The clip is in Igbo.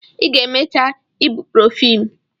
Ị ga-emecha ibuprofen!